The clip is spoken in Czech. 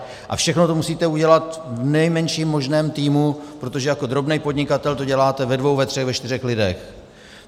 A všechno to musíte udělat v nejmenším možném týmu, protože jako drobný podnikatel to děláte ve dvou, ve třech, ve čtyřech lidech.